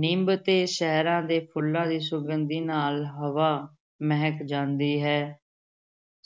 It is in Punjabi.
ਨਿੰਮ ਤੇ ਸ਼ਹਿਰਾਂ ਦੇ ਫੁੱਲਾਂ ਦੀ ਸੁਗੰਧੀ ਨਾਲ ਹਵਾ ਮਹਿਕ ਜਾਂਦੀ ਹੈ